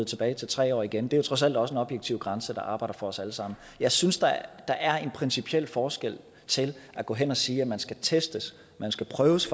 tilbage til tre år igen det er jo trods alt også en objektiv grænse der arbejder for os alle sammen jeg synes der er en principiel forskel til at gå hen og sige at man skal testes man skal prøves